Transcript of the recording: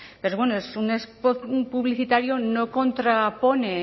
pero bueno es un spot publicitario no contrapone